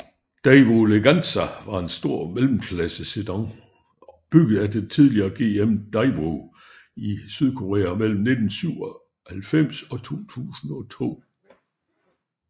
Daewoo Leganza var en stor mellemklassesedan bygget af det tidligere GM Daewoo i Sydkorea mellem 1997 og 2002